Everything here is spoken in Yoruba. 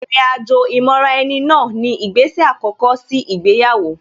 Ìrìn àjò ìmọra-ẹni náà ni ìgbésè àkọ́kọ́ sí ìgbéyàwó